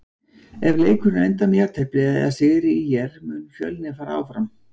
Ef leikurinn endar með jafntefli eða sigri ÍR mun Fjölnir fara áfram.